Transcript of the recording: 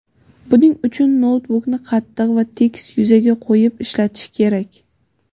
Buning uchun noutbukni qattiq va tekis yuzaga qo‘yib ishlatish kerak.